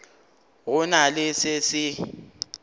go na le se se